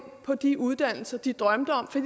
på de uddannelser de drømte om for